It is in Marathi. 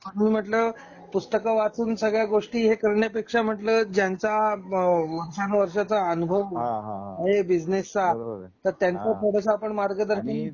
म्हणून म्हंटल पुस्तक वाचून सगळ्या गोष्टी हे करण्या पेक्षा म्हंटल ज्यांचा वर्षानवर्षाचा अनुभव हां हां हां आहे बिझनेसचा बरोबर तर त्यांचा थोडस आपण मार्गदर्शन आणि थोडं